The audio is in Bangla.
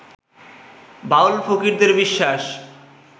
বাউল-ফকিরদের বিশ্বাস